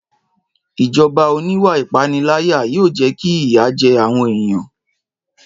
Ìjọba oníwà ìpániláyà yóò jẹ́ kí ìyà jẹ àwọn èèyàn